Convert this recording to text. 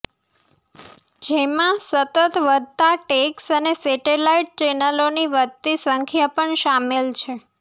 જેમાં સતત વધતા ટેક્સ અને સેટેલાઇટ ચેનલોની વધતી સંખ્યા પણ શામેલ છે